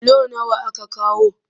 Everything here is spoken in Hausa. Bulo nawa aka kawo?